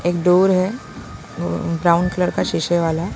एक डोर है brown colour का शीशे वाला--